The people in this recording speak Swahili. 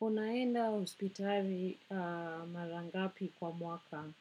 Unaenda hospitali mara ngapi kwa mwaka?